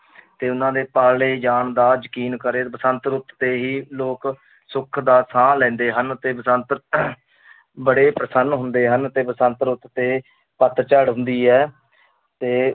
ਤੇ ਉਹਨਾਂ ਦੇ ਪਾਲੇ ਜਾਣ ਦਾ ਯਕੀਨ ਕਰੇ, ਬਸੰਤ ਰੁੱਤ 'ਤੇ ਹੀ ਲੋਕ ਸੁਖ ਦਾ ਸਾਹ ਲੈਂਦੇ ਹਨ ਤੇ ਬਸੰਤ ਬੜੇ ਪ੍ਰਸੰਨ ਹੁੰਦੇ ਹਨ ਤੇ ਬਸੰਤ ਰੁੱਤ ਤੇ ਪੱਤਝੜ ਹੁੰਦੀ ਹੈ ਤੇ